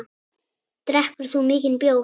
Drekkur þú mikinn bjór?